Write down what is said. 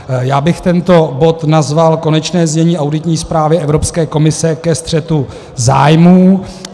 Já bych tento bod nazval Konečné znění auditní zprávy Evropské komise ke střetu zájmů.